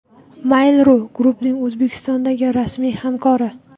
Mail.ru Group’ning O‘zbekistondagi rasmiy hamkori.